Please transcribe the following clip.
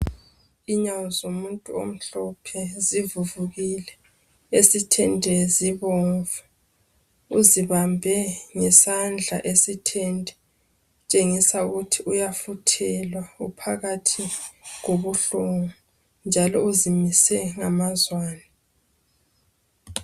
Inyawo zomuntu omhlophe zivuvukile, esithende zibomvu uzibambe ngesandla esithende tshengisa ukuthi uyafuthelwa uphakathi kobuhlungu njalo uzimise ngamazwane.